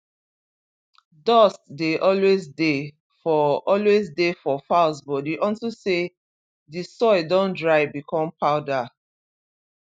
dust dey always dey for always dey for fowls body unto say d soil don dry become powder